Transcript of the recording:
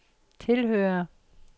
tilhører